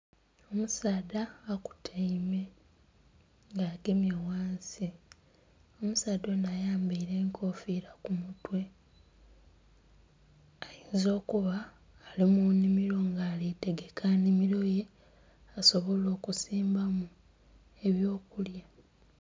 Omusaadha okutaime nga agemye ghansi, omusaadha onho ayambaire enkofira ku mutwe ayinza okuba ali munhimiro nga alitegeka nnhimiro ye asobole okusimbamu ebyokulya.